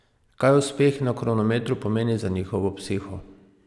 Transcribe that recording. Kaj uspeh na kronometru pomeni za njihovo psiho?